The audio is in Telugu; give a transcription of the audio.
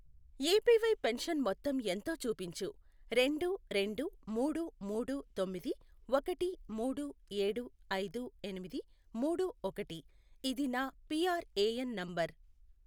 ఏపీవై పెన్షన్ మొత్తం ఎంతో చూపించు రెండు రెండు మూడు మూడు తొమ్మిది ఒకటి మూడు ఏడు ఐదు ఎనిమిది మూడు ఒకటి ఇది నా పిఆర్ఏఎన్ నంబర్ .